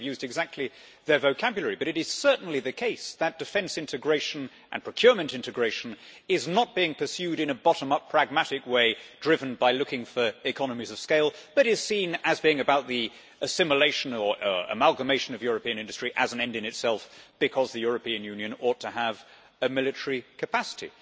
I wouldn't have used exactly their vocabulary, but it is certainly the case that defence integration and procurement integration is not being pursued in a bottom up pragmatic way, driven by looking for economies of scale, but is seen as being about the assimilation or amalgamation of European industry as an end in itself because the European Union ought to have a military capacity.